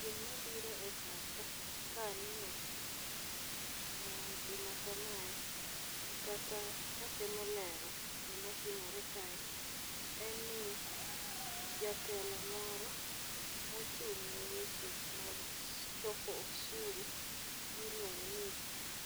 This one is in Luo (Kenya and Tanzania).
Gima biro e pacha ka aneno gima kamae kata ka atemo lero gima timore kae en ni jatelo moro mochung' ne weche mag choko osuru miluongo ni